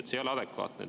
See ei ole adekvaatne.